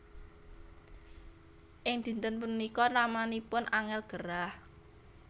Ing dinten punika ramanipun Angel gerah